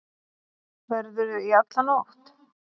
Verðurðu í alla nótt?